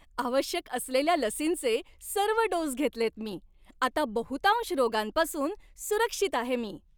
आवश्यक असलेल्या लसींचे सर्व डोस घेतलेत मी. आता बहुतांश रोगांपासून सुरक्षित आहे मी.